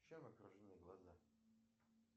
чем окружены глаза